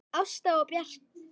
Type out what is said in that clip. Ásta og Bjarki.